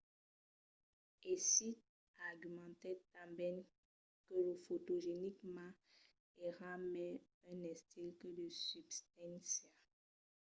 hsieh argumentèt tanben que lo fotogenic ma èra mai un estil que de substància